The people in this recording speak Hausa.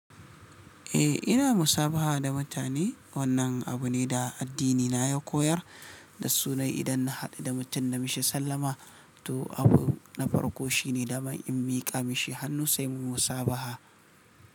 Eh, ina musabaha da mutane. Wannan abu ne da addinina ya koyar da sunan idan na haɗu da mutum na mishi sallama. To, abu na farko shine da ma in miƙa mishi hannu sai mu musabaha.